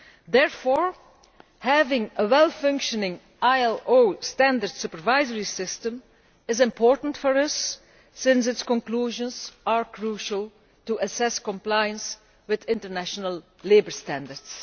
Therefore, having a well functioning ILO standard supervisory system is important for us since its conclusions are crucial to assessing compliance with international labour standards.